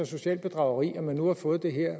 socialt bedrageri at man nu har fået det her